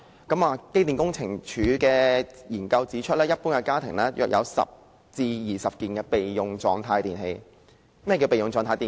機電工程署的研究指出，一般家庭約有10至20件處於備用狀態的電器。